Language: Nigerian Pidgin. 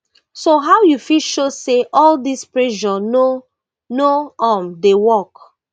so how you fit show say all dis pressure no no um dey work